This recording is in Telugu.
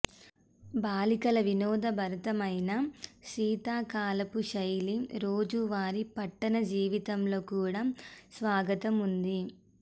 బాలికల వినోదభరితమైన శీతాకాలపు శైలి రోజువారీ పట్టణ జీవితంలో కూడా స్వాగతం ఉంది